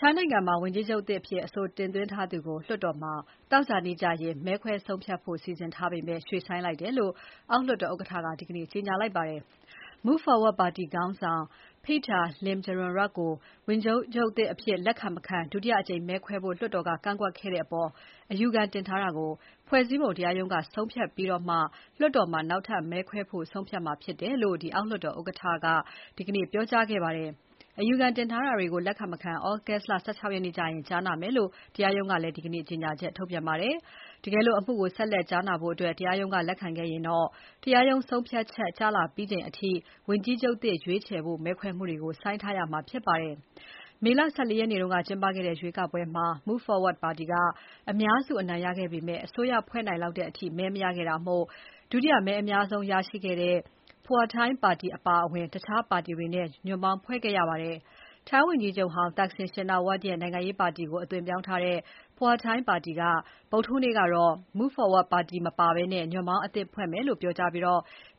ထိုင်းနိုင်ငံမှာ ဝန်ကြီးချုပ်သစ်အဖြစ်အဆိုတင်သွင်းထားသူကို လွှတ်တော်မှာ သောကြာနေ့ မဲခွဲဆုံးဖြတ်ဖို့စီစဉ်ထားပေမဲ့ ရွှေ့ဆိုင်းလိုက်တယ်လို့ အောက်လွှတ်တော်ဥက္ကဋ္ဌက ဒီနေ့ကြေညာပါတယ်။ ရွေးကောက်ပွဲအနိုင်ရ Move Forward ပါတီခေါင်းဆောင် Pita Limjaroenrat ကို ဝန်ကြီးချုပ်သစ်အဖြစ်လက်ခံမခံ ဒုတိယအကြိမ်မဲခွဲဖို့ လွှတ်တော်က ကန့်ကွက်ခဲ့တဲ့အပေါ် အယူခံတင်ထားတာကို ဖွဲ့စည်းပုံတရားရုံးက ဆုံးဖြတ်အပြီးမှာ လွှတ်တော်မှာ နောက်ထပ်မဲခွဲဖို့ ဆုံးဖြတ်မှာဖြစ်တယ်လို့ အောက်လွှတ်တော် ဥက္ကဋ္ဌက Wan Muhamad Noor Matha က ဒီကနေ့ပြောကြားခဲ့ပါတယ်။ အယူခံတင်ထားတာတွေကို လက်ခံ မခံ သြဂုတ်လ ၁၆ ရက်ကျရင် ကြားနာမယ်လို့ တရားရုံးကလည်း ဒီနေ့ ကြေညာချက်ထုတ်ပြန်ပါတယ်။ တကယ်လို့ အမှုကို ဆက်လက်ကြားနာဖို့ တရားရုံးက လက်ခံခဲ့ရင်တော့ တရားရုံးဆုံးဖြတ်ချက်ကျလာပြီးချိန်အထိ ဝန်ကြီးချုပ်သစ်ရွေးချယ်ဖို့ မဲခွဲမှုကို ဆိုင်းထားရမှာဖြစ်ပါတယ်။ မေလ ၁၄ ရက်နေ့က ကျင်းပခဲ့တဲ့ ရွေးကောက်ပွဲမှာ Move Forward ပါတီက အများစုအနိုင်ရခဲ့ပေမဲ့ အစိုးရဖွဲ့နိုင်လောက်တဲ့အထိ မဲမရခဲ့တာမို့ ဒုတိယမဲအများဆုံးရခဲ့တဲ့ Pheu Thai ပါတီအပါအဝင် တခြားပါတီတွေနဲ့ ညွန့်ပေါင်းဖွဲ့ခဲ့ရပါတယ်။ ထိုင်းဝန်ကြီးချုပ်ဟောင်း Thaksin Shinawatra ရဲ့ နိုင်ငံရေးပါတီကို အသွင်ပြောင်းထားတဲ့ Pheu Thai ပါတီက Move Forward ပါတီမပါဘဲ ညွှန်ပေါင်းအသစ်ဖွဲ့မယ်လို့ ဗုဒ္ဓဟူးနေ့က ပြောကြားပြီး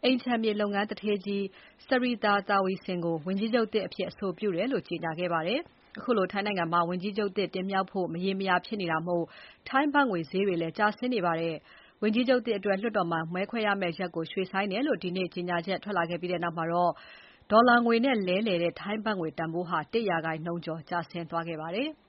အိမ်ခြံမြေလုပ်ငန်းသူဌေးကြီး Srettha Thavisin ကို ဝန်ကြီးချုပ်သစ်အဖြစ် အဆိုပြုတယ်လို့ ကြေညာခဲ့ပါတယ်။ ထိုင်းနိုင်ငံမှာ ဝန်ကြီးချုပ်သစ် တင်မြှောက်နိုင်ဖို့ မရေမရာ ဖြစ်နေတာမို့ ထိုင်းဘတ်ငွေဈေးတွေ ကျဆင်းနေပါတယ်။ ဝန်ကြီးချုပ်သစ်အတွက် လွှတ်တော်မှာ မဲခွဲမယ့်ရက်ကို ရွှေ့ဆိုင်းတယ်လို့ ဒီနေ့ ကြေညာချက်ထွက်လာခဲ့ပြီးနောက်မှာ ဒေါ်လာငွေနဲ့ လဲလှယ်တဲ့ ထိုင်းဘတ်ငွေတန်ဖိုး ၁ ရာခိုင်နှုန်းကျော် ကျဆင်းသွားခဲ့ပါတယ်။